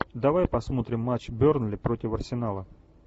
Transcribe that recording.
давай посмотрим матч бернли против арсенала